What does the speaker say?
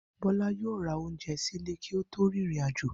Bó̩lá yóò ra oúnje̩ sílé kí ó tó rin ìrìnàjò